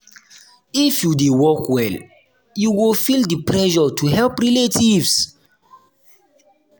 if you dey work well you go feel di pressure to help relatives.